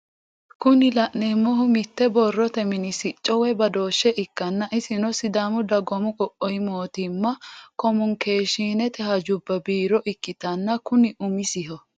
Kuni la'neemohu mitte borrote mini sicco woye badooshshe ikkanna isino sidaamu dagoomu qoqqowu mootimma komunikeeshshiinete hajubba biiro ikkitanna kuni umiseho.